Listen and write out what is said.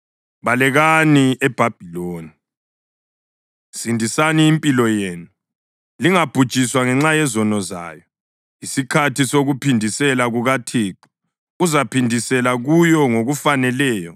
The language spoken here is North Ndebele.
Balekani eBhabhiloni! Sindisani impilo yenu! Lingabhujiswa ngenxa yezono zayo. Yisikhathi sokuphindisela kukaThixo; uzaphindisela kuyo ngokufaneleyo.